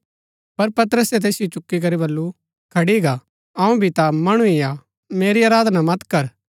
पर पतरसे तैसिओ चुकी करी बल्लू खड़ी गा अऊँ भी ता मणु ही हा मेरी आराधना मत कर